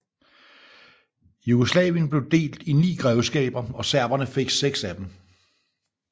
Jugoslavien blev delt i 9 grevskaber og serberne fik 6 af dem